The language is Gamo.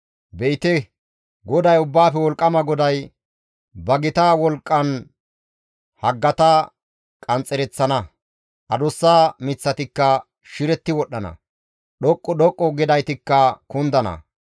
Be7ite GODAY, Ubbaafe Wolqqama GODAY ba gita wolqqan haggata qanxxereththana; adussa miththatikka shiretti wodhdhana; dhoqqu dhoqqu gidaytikka kundana.